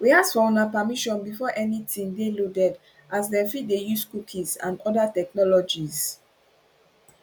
we ask for una permission before anytin dey loaded as dem fit dey use cookies and oda technologies